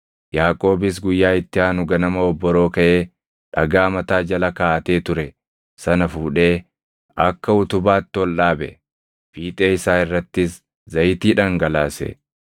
Yaaqoobis guyyaa itti aanu ganama obboroo kaʼee dhagaa mataa jala kaaʼatee ture sana fuudhee akka utubaatti ol dhaabe; fiixee isaa irrattis zayitii dhangalaase.